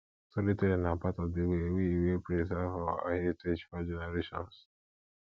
storytelling na part of the way we way we preserve our heritage for generations